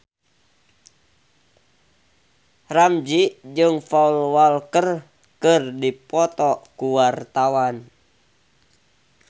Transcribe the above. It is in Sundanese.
Ramzy jeung Paul Walker keur dipoto ku wartawan